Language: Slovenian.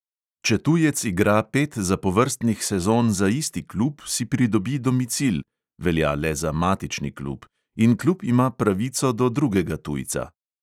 Če tujec igra pet zapovrstnih sezon za isti klub, si pridobi domicil (velja le za matični klub) in klub ima pravico do drugega tujca.